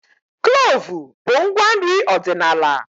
Kloovu bụ ngwa nri ọdịnala